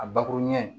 A bakuru ɲɛ